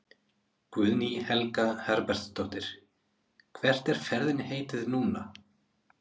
Guðný Helga Herbertsdóttir: Hvert er ferðinni heitið núna?